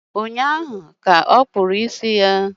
Ụnyaahụ ka okpúrụ ísì ya